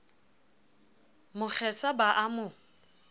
mo kgesa ba a mo